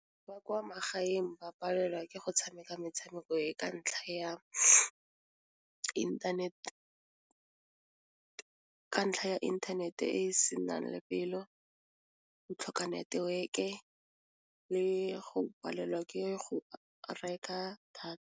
Ba kwa magaeng ba palelwa ke go tshameka metshameko e ka ntlha ya internet, ka ntlha ya inthanete e se nang lebelo, go tlhoka network-e le go palelwa ke go reka data.